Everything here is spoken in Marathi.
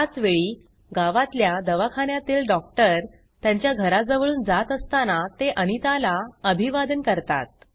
त्याचवेळी गावातल्या दवाखान्यातील डॉक्टर त्यांच्या घराजवळून जात असताना ते अनिताला अभिवादन करतात